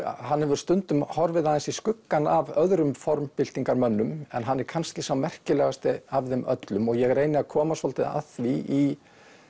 hann hefur stundum horfið aðeins í skuggann af öðrum en hann er kannski sá merkilegasti af þeim öllum og ég reyni að koma svolítið að því í